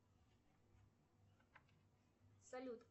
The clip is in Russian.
салют